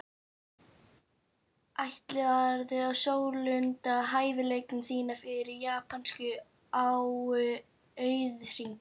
Ætlarðu að sólunda hæfileikum þínum fyrir japanskan auðhring?